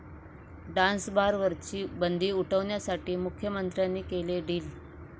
'डान्सबार'वरची बंदी उठवण्यासाठी मुख्यमंत्र्यांनी केलं डील'